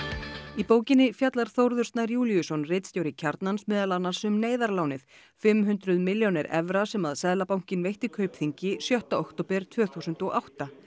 í bókinni fjallar Þórður Snær Júlíusson ritstjóri Kjarnans meðal annars um neyðarlánið fimm hundruð milljónir evra sem Seðlabankinn veitti Kaupþingi sjötta október tvö þúsund og átta